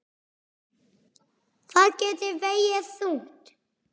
Það gæti vegið þungt.